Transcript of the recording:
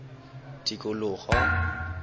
tikologo